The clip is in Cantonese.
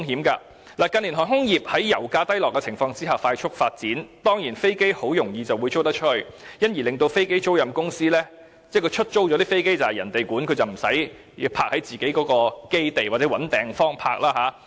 近年航空業在油價低落的情況下快速發展，而飛機租賃公司在飛機出租後，便無須負責飛機的管理，而飛機亦不會停泊在公司的基地或須另覓地方停泊。